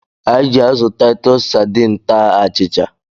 Anyị ji azụ Taịtus sadiin taa achịcha.